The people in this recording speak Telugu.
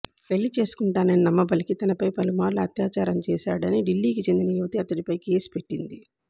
పెళ్లి చేసుకుంటానని నమ్మబలికి తనపై పలుమార్లు అత్యాచారం చేశాడని ఢిల్లీకి చెందిన యువతి అతడిపై కేసు పెట్టింది